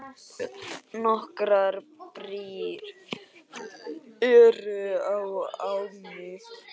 Nokkrar brýr eru á ánni.